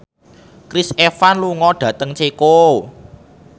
Chris Evans lunga dhateng Ceko